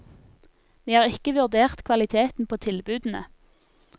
Vi har ikke vurdert kvaliteten på tilbudene.